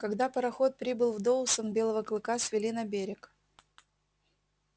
когда пароход прибыл в доусон белого клыка свели на берег